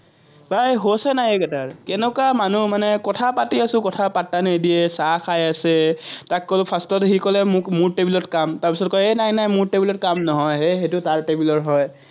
নাই হুচে নাই এইকেইটাৰ, কেনেকুৱা মানুহ মানে, কথা পাতি আছো, কথা পাত্তা নিদিয়ে, চাহ খাই আছে, তাক ক'লো, first ত সি ক'লে, মোৰ টেবুলত কাম, তাৰপিচত কয়, এ নাই নাই মোৰ টেবুলত কাম নহয়, সেইটো তাৰ টেবুলৰ কাম হয়।